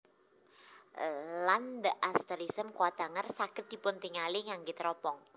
Lan the asterism Coathanger saged dipuntingali ngangge teropong